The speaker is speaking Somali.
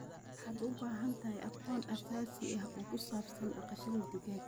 Waxaad u baahan tahay aqoon aasaasi ah oo ku saabsan dhaqashada digaagga.